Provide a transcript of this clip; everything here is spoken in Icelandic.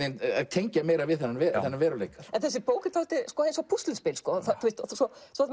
tengja meira við þennan veruleika en þessi bók er dálítið eins og púsluspil